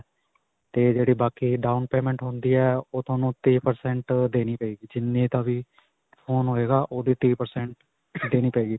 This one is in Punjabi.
'ਤੇ ਜਿਹੜੀ ਬਾਕੀ down payment ਹੁੰਦੀ ਹੈ, ਓਹ ਤੁਹਾਨੂੰ ਤੀਹ percent ਦੇਣੀ ਪਏਗੀ ਜਿੰਨੇ ਫੋਨ ਹੋਏਗਾ, ਓਹਦੀ ਤੀਹ percent ਦੇਣੀ ਪਏਗੀ.